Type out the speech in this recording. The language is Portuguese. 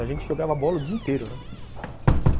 A gente jogava bola o dia inteiro, né.